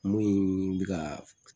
Mun bɛ ka